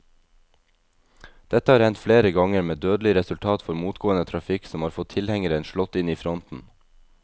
Dette har hendt flere ganger, med dødelig resultat for motgående trafikk som har fått tilhengeren slått inn i fronten.